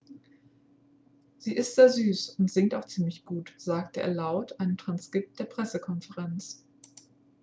sie ist sehr süß und singt auch ziemlich gut sagte er laut einem transkript der pressekonferenz